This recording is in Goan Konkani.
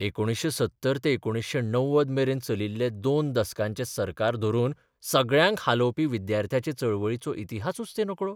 1970 ते 1990 मेरेन चलिल्ले दोन दसकांचे सरकार धरून सगळ्यांक हालोबपी बिद्यार्थी चळवळीचो इतिहासूच ते नकळो?